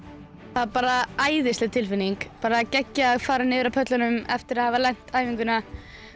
það er bara æðisleg tilfinning bara geggjað að fara niður af pöllunum eftir að hafa lent æfinguna